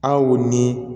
Aw ni